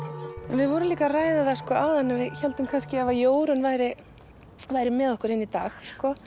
við vorum líka að ræða það áðan að við héldum kannski að ef að Jórunn væri væri með okkur hérna í dag